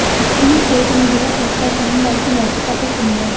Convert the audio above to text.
supreme court ने यह फैसला श्याम लाल की याचिका पर सुनाया